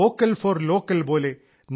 vocal for local പോലെ